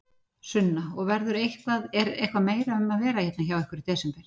Sunna: Og verður eitthvað, er eitthvað meira um að vera hérna hjá ykkur í desember?